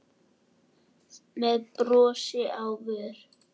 með brosi á vör.